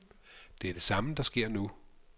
Det er det samme, der sker nu.